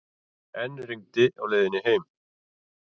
Enn rigndi á leiðinni heim.